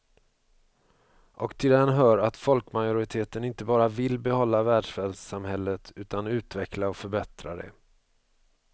Och till den hör att folkmajoriteten inte bara vill behålla välfärdssamhället utan utveckla och förbättra det.